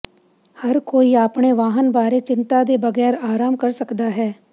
ਹਰ ਕੋਈ ਆਪਣੇ ਵਾਹਨ ਬਾਰੇ ਚਿੰਤਾ ਦੇ ਬਗੈਰ ਆਰਾਮ ਕਰ ਸਕਦਾ ਹੈ